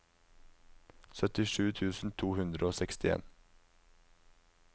syttisju tusen to hundre og sekstien